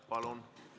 Palun!